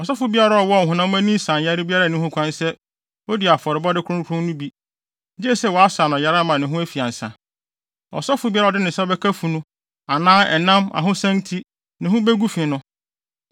“Ɔsɔfo biara a ɔwɔ ɔhonam ani nsanyare biara nni ho kwan sɛ odi afɔrebɔde kronkron no bi, gye sɛ wɔasa no yare ama ne ho afi ansa. Ɔsɔfo biara a ɔde ne nsa bɛka funu anaa ɛnam ahosian nti ne ho begu fi no,